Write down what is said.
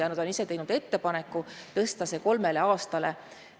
Naised on teinud ettepaneku tõsta see kolmele aastale.